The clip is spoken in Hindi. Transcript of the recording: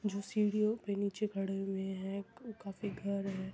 जो सीढ़ियों पे नीचे खड़े हुए है का काफी घर है।